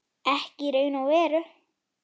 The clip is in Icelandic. Ekki í raun og veru.